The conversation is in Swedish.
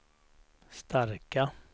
starka